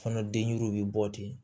Kɔnɔ denɲɛrɛnw bɛ bɔ ten